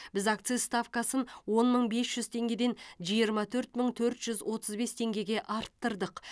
біз акциз ставкасын он мың бес жүз теңгеден жиырма төрт мың төрт жүз отыз бес теңгеге арттырдық